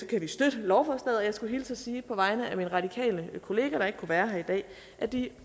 kan støtte lovforslaget og jeg skulle hilse og sige på vegne af min radikale kollega der ikke kunne være her i dag at de